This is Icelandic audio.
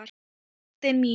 Ástin mín